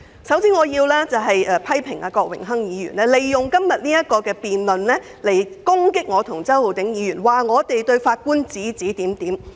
首先，我要批評郭榮鏗議員利用今天這項辯論，指責我和周浩鼎議員對法官指指點點。